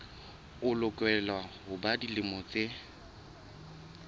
lokela ho ba dilemo tse